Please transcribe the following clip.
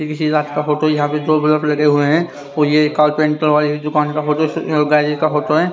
ये किसी लैब का फोटो यहां पे दो बलफ लगे हुए हैं फोटो है